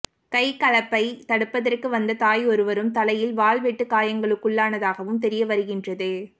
கைகலப்பை தடுப்பதற்கு வந்த தாயொருவரும் தலையில் வாள் வெட்டு காயங்களுக்குள்ளானதாகவும் தெரியவருகின்றது